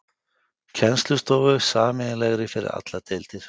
Kennslustofu, sameiginlegri fyrir allar deildir.